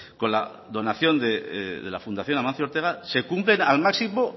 con la donación de la fundación amancio ortega se cumplen al máximo